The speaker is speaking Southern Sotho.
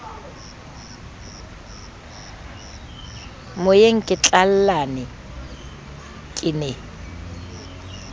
moyeng ke tlallane ke ne